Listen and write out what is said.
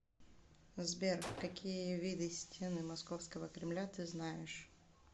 сбер какие виды стены московского кремля ты знаешь